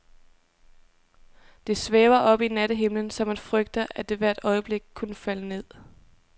Det svæver oppe i nattehimlen, så man frygter, at det hvert øjeblik kunne falde ned.